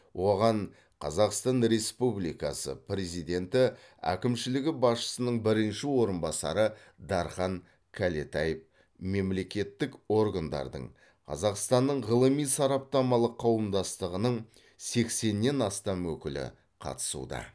оған қазақстан республикасы президенті әкімшілігі басшысының бірінші орынбасары дархан кәлетаев мемлекеттік органдардың қазақстанның ғылыми сараптамалық қауымдастығының сексеннен астам өкілі қатысуда